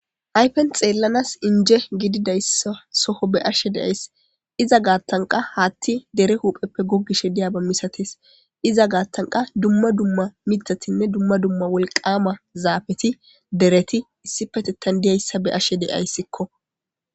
hayfen xeellanas inje gididayssa soho be ashe deyays iza gaattanqa haatti dere hupheppe goggishe diyaba misatees iza gaattanqa dumma dumma mitatinne dumma dumma wolqama zaafeti dereti issi petettan diyayssa be ashe deyayssikko